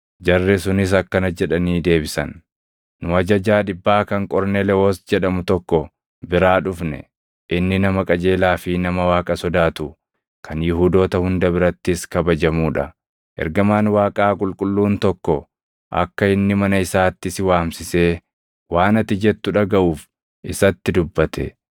Jarri sunis akkana jedhanii deebisan; “Nu ajajaa dhibbaa kan Qorneelewoos jedhamu tokko biraa dhufne; inni nama qajeelaa fi nama Waaqa sodaatu kan Yihuudoota hunda birattis kabajamuu dha; ergamaan Waaqaa qulqulluun tokko akka inni mana isaatti si waamsisee waan ati jettu dhagaʼuuf isatti dubbate.”